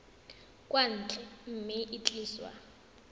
kwa ntle mme e tliswa